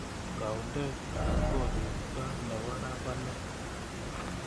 Taundetab koristob nebo raa ko ne